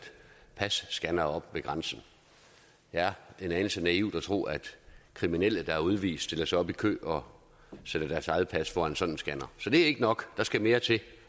passcannere op ved grænsen det er en anelse naivt at tro at kriminelle der er udvist stiller sig op i kø og sætter deres eget pas foran sådan en scanner så det er ikke nok der skal mere til